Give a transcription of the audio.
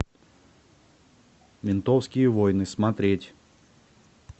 ментовские войны смотреть